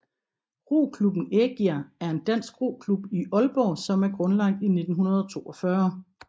Roklubben Ægir er en dansk roklub i Aalborg som er grundlagt i 1942